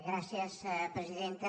gràcies presidenta